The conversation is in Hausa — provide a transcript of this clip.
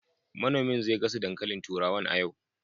Manomin zai gasa dankalin turawan a yau